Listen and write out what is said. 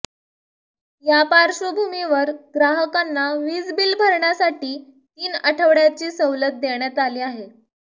या पार्श्वभूमीवर ग्राहकांना वीज बिल भरण्यासाठी तीन आठवड्याची सवलत देण्यात आली आहे